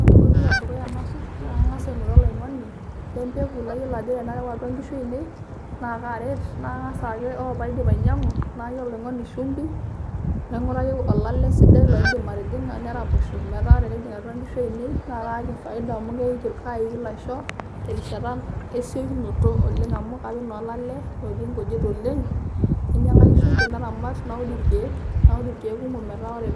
Ore enkoitoi edukuya nasuj, naa kang'as aing'oru oloing'oni lempeku layiolo ajo tenareu atua nkishu ainei, na karet. Na kang'as ake ore paidip ainyang'u, naaki oloing'oni shimbi, naing'uraki olale sidai loidim atijing'a neraposho metaa tenejing' atua nkishu ainei, na kaaki faida amu kaiki lasho terishata esiokinoto oleng' amu kapik na olale otii nkujit oleng',nainyang'aki shumbi, naramat, naud irkeek kumok metaa ore